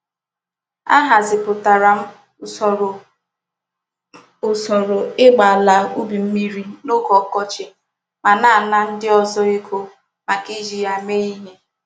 Ahaziputara m usoro m usoro igba ala ubi mmiri n'oge okochi ma na-ana ndi ozo ego maka Iji ya mee ihe.